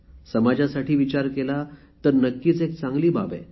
समाजासाठी विचार केला तर नक्कीच एक चांगली बाब आहे